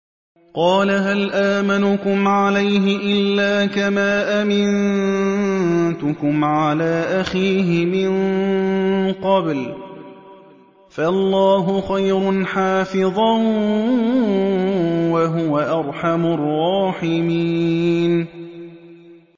قَالَ هَلْ آمَنُكُمْ عَلَيْهِ إِلَّا كَمَا أَمِنتُكُمْ عَلَىٰ أَخِيهِ مِن قَبْلُ ۖ فَاللَّهُ خَيْرٌ حَافِظًا ۖ وَهُوَ أَرْحَمُ الرَّاحِمِينَ